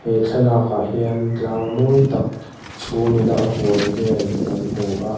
he thlalâkah hian tlâng mawi tak chhûm ina a hual vêl kan hmû a.